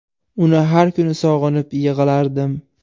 Uni har kuni sog‘inib yig‘lardim.